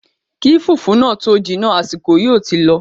Kí fùfú náà tó jiná, àsìkò yóò ti lọ